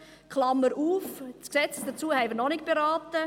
Klammer auf: Das Gesetz dazu haben wir noch nicht beraten.